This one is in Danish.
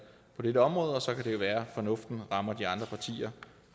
på dette område og så kan det jo være at fornuften rammer de andre partier